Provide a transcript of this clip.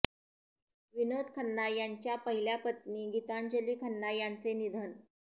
विनोद खन्ना यांच्या पहिल्या पत्नी गीतांजली खन्ना यांचे निधन